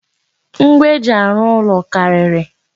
Ngwa eji arụ ụlọ karịrị.